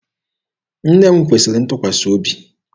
Nne m kwesịrị ntụkwasị obi.